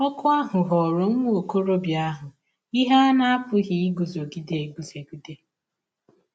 Ọ̀kụ ahụ ghọọrọ nwa ọkọrọbịa ahụ ihe a na - apụghị iguzogide eguzogide.